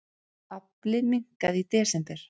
Afli minnkaði í desember